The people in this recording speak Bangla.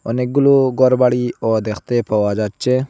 অনেকগুলো গরবাড়ি ও দেখতে পাওয়া যাচ্ছে।